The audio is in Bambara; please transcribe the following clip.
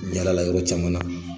n yaalala yɔrɔ caman na.